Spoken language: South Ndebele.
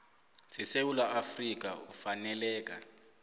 sesewula afrika ufaneleka